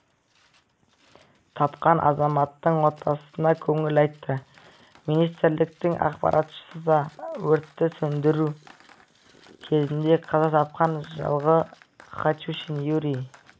тапқан азаматтың отбасына көңіл айтты министрліктің ақпаратынша өртті сөндіру кезінде қаза тапқан жылғы хатюшин юрий